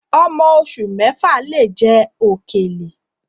Ọmọ oṣù mẹ́fà lè jẹ òkèlè